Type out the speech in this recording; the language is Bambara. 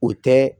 O tɛ